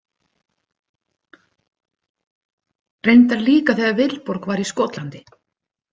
Reyndar líka þegar Vilborg var í Skotlandi.